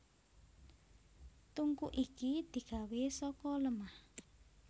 Tungku iki digawé saka lemah